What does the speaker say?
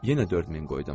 Yenə 4000 qoydum.